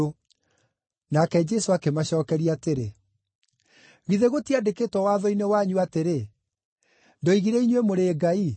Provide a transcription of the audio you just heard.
Nake Jesũ akĩmacookeria atĩrĩ, “Githĩ gũtiandĩkĩtwo Watho-inĩ wanyu atĩrĩ, ‘Ndoigire inyuĩ mũrĩ ngai’?